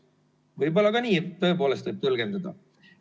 Võib-olla võib ka nii tõepoolest tõlgendada.